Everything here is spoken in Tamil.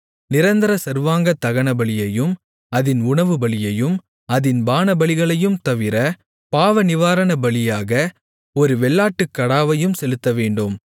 நிரந்தர சர்வாங்கதகனபலியையும் அதின் உணவுபலியையும் அதின் பானபலிகளையும் தவிர பாவநிவாரணபலியாக ஒரு வெள்ளாட்டுக்கடாவையும் செலுத்தவேண்டும்